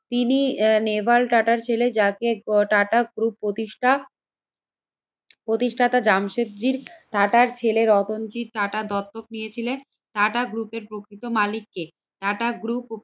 তিনি নেভাল টাটার ছেলে যাকে টাটা গ্রুপ প্রতিষ্ঠা প্রতিষ্ঠাটা জামশেদজি টাটার ছেলে রতনজি টাটা দত্তক নিয়েছিলে। টাটা গ্রুপ এর প্রকৃত মালিক কে? টাটা গ্রুপ